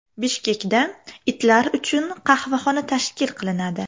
Bishkekda itlar uchun qahvaxona tashkil qilinadi.